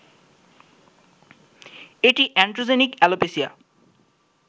এটি androgenic alopecia